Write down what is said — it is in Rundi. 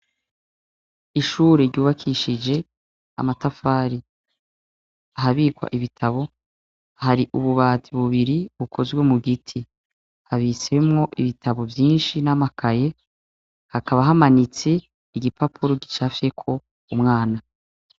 Ishure ryubakishije amatafari. Ahabikwa ibitabo hari ububati bubiri bukozwe mu giti. Habitsemwo ibitabo vyinshi n'amakaye, hakaba hamanitse igipapuro gicafyeko umwana.